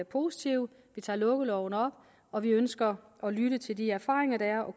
positive vi tager lukkeloven op og vi ønsker at lytte til de erfaringer der er og